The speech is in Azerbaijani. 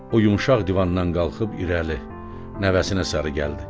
O yumşaq divandan qalxıb irəli, nəvəsinə sarı gəldi.